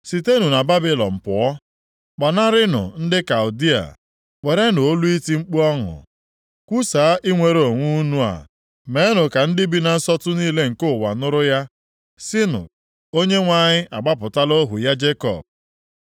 Sitenụ na Babilọn pụọ, gbanarịnụ ndị Kaldịa! Werenụ olu iti mkpu ọṅụ kwusaa inwere onwe unu a. Meenụ ka ndị bi na nsọtụ niile nke ụwa nụrụ ya sịnụ, “ Onyenwe anyị agbapụtala ohu ya Jekọb.”